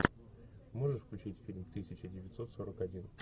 можешь включить фильм тысяча девятьсот сорок один